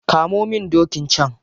Kamo min dokin can.